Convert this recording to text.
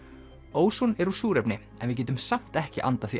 óson er úr súrefni en við getum samt ekki andað því